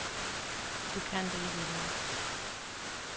Det kan det ikke i dag.